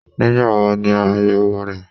Nígbà wo ni áyèwò rẹ?